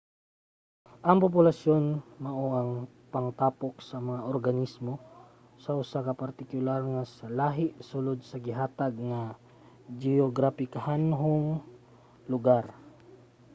ang populasyon mao ang pangtapok sa mga organismo sa usa ka partikular nga lahi sulod sa gihatag nga geograpikanhong lugar